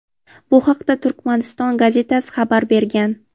Bu haqda "Turkmaniston" gazetasi xabar bergan.